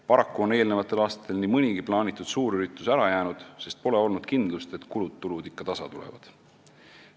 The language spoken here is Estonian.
Paraku on eelmistel aastatel nii mõnigi plaanitud suurüritus ära jäänud, sest pole olnud kindlust, et kulud ja tulud ikka tasa tulevad.